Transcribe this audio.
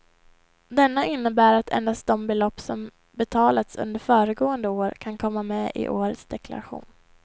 Denna innebär att endast de belopp som betalats under föregående år kan komma med i årets deklaration.